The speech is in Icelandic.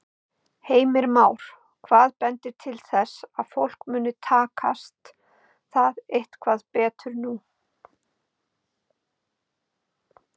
Heimir Már: Hvað bendir til þess að fólki muni takast það eitthvað betur nú?